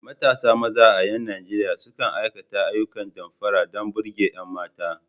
Matasa maza a ƴan Nijeriya sukan aikata ayyukan damfara don burge ƴan mata.